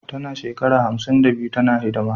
Tana shekara hamsin da biyu tana hidima